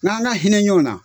N'an ka hinɛ ɲɔgɔn na